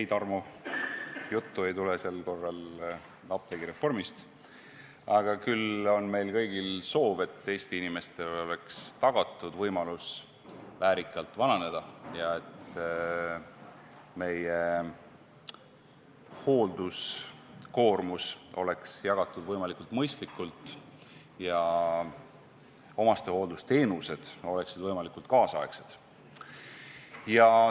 Ei, Tarmo, juttu ei tule sel korral apteegireformist, küll aga on meil kõigil soov, et Eesti inimestele oleks tagatud võimalus väärikalt vananeda ja et meie hoolduskoormus oleks jagatud võimalikult mõistlikult ja omastehooldusteenused oleksid võimalikult tänapäevased.